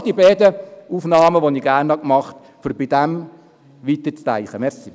Dies waren die beiden Punkte, die ich aufgegriffen habe, um weiterzudenken.